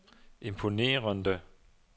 imponerende